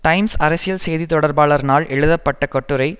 times அரசியல் செய்தி தொடர்பாளர் னால் எழுதப்பட்ட கட்டுரை